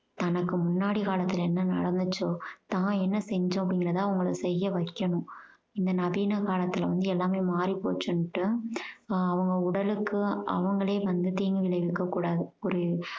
தனக்கு முன்னாடி காலத்துல என்ன நடந்துச்சோ தான் என்ன செஞ்சோம் அப்படிங்கறத அவங்கள செய்ய வைக்கணும் இந்த நவீன காலத்துல வந்து எல்லாமே மாறி போச்சுனுட்டு அவங்க உடலுக்கு அவங்களே வந்து தீங்கு விளைவிக்க கூடாது புரி~